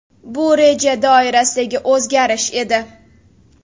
Bu reja doirasidagi o‘zgarish edi.